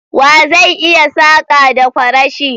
Wa zai iya saka da kwarashi?